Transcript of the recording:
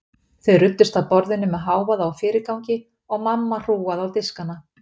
Þau ruddust að borðinu með hávaða og fyrirgangi og mamma hrúgaði á diskana.